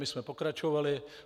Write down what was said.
My jsme pokračovali.